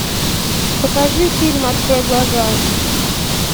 покажи фильм открой глаза